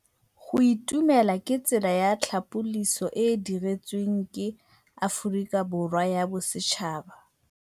Go itumela ke tsela ya tlhapolisô e e dirisitsweng ke Aforika Borwa ya Bosetšhaba.